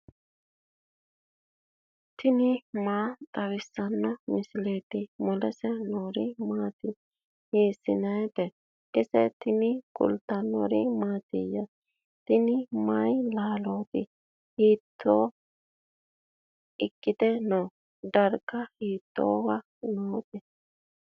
tini maa xawissanno misileeti ? mulese noori maati ? hiissinannite ise ? tini kultannori mattiya? tini may laalootti? hitto ikkite noo? dariga hiittowa nootte?